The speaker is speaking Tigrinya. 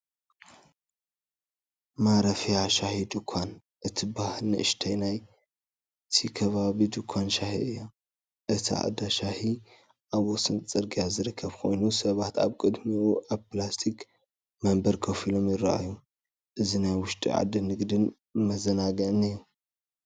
"ማረፍያ ሻሂ ድኳን" እትበሃል ንእሽቶይ ናይቲ ከባቢ ድኳን ሻሂ እያ። እቲ እንዳ ሻሂ ኣብ ወሰን ጽርግያ ዝርከብ ኮይኑ፡ ሰባት ኣብ ቅድሚኡ ኣብ ፕላስቲክ መንበር ኮፍ ኢሎም ይረኣዩ። እዚ ናይ ውሽጢ ዓዲ ንግድን መዘናግዕን እዩ።